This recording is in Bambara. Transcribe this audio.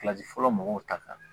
fɔlɔ mɔgɔw ta kan